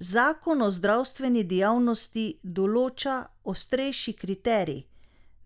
Zakon o zdravstveni dejavnosti določa ostrejši kriterij,